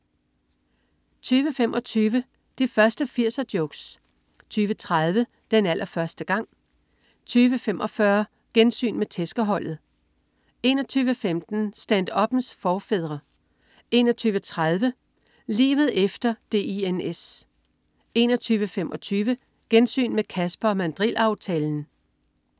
20.25 De første 80'er-jokes 20.30 Den allerførste gang 20.45 Gensyn med "Tæskeholdet" 21.15 Stand-uppens forfædre 21.30 Livet efter Dins 21.45 Gensyn med "Casper & Mandril-aftalen"